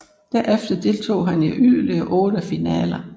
Derefter deltog han i yderligere otte finaler